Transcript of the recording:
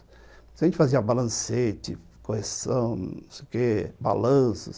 A gente fazia balancete, correção não sei o quê, balanço.